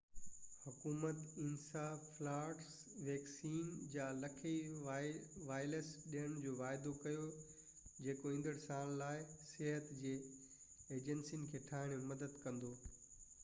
حڪومت encephalitis vaccine جا لکين وائلس ڏيڻ جو واعدو ڪيو جيڪو ايندڙ سال لاءِ صحت جي ايجنسين کي ٺاهڻ ۾ مدد ڪندو